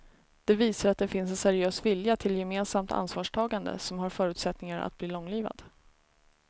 Det visar att det finns en seriös vilja till gemensamt ansvarstagande som har förutsättningar att bli långlivad.